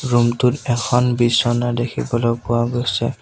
Room টোত এখন বিছনা দেখিবলৈ পোৱা গৈছে।